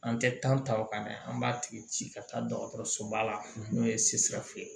An tɛ ta o kan dɛ an b'a tigi ci ka taa dɔgɔtɔrɔsoba la n'o ye ye